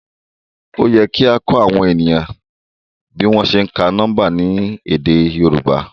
Òyẹ kia kọ awọn eniyan bi wọn se ǹka niọmba lèdè yorùbá